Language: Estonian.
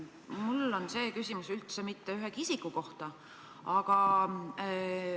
Mul on küsimus, aga see ei käi ühegi isiku kohta.